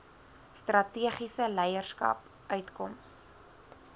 strategiese leierskap uitkoms